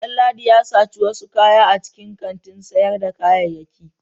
Danladi ya saci wasu kaya a cikin kantin sayarda kayayyaki.